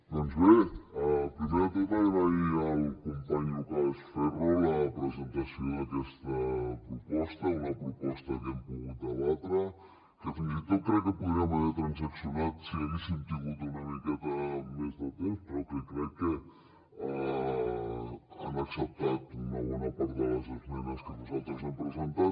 doncs bé primer de tot agrair al company lucas ferro la presentació d’aquesta proposta una proposta que hem pogut debatre que fins i tot crec que podríem haver transaccionat si haguéssim tingut una miqueta més de temps però que crec que han acceptat una bona part de les esmenes que nosaltres hem presentat